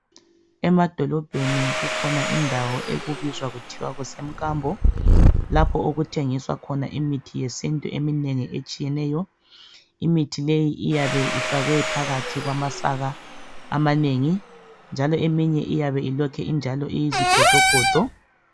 Emadolobheni kukhona indawo ekubizwa kuthiwe kusemkambo lapho okuthengiswa khona imithi yesintu eminengi etshiyeneyo. Imithi leyi iyabe ifakwe phakathi kwamasaka amanengi njalo eminye iyabe ilokhe injalo iyizigodogodo.